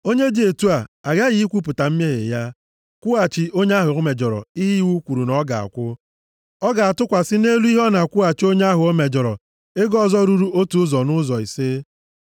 Onye dị otu a aghaghị ikwupụta mmehie ya, kwụghachi onye ahụ o mejọrọ ihe iwu kwuru na ọ ga-akwụ. Ọ ga-atụkwasị nʼelu ihe ọ na-akwụghachi onye ahụ o mejọrọ ego ọzọ ruru otu ụzọ nʼụzọ ise.